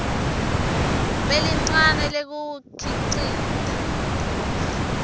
lelincane lekuwukhicita